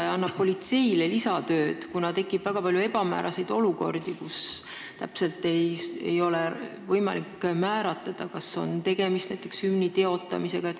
See annab politseile lisatööd, kuna tekib väga palju ebamääraseid olukordi, kus ei ole võimalik täpselt määratleda, kas on näiteks tegemist hümni teotamisega.